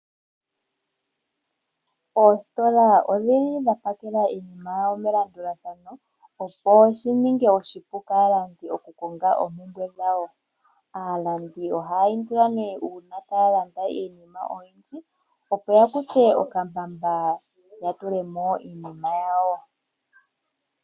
Oositola odhili dhapakela iinima yadho melandulathano opo shininge oshipu kaalandi okukonga oompumbwe dhawo. Aalandi ohaya indilwa nee uuna taya landa iinima oyindji opo yakuthe okambamba yatulemo iinima yawo.